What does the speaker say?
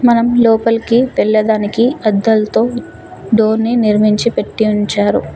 మనం లోపలికి వెళ్లే దానికి అద్దాలతో డోర్ ని నిర్మించి పెట్టి ఉంచారు.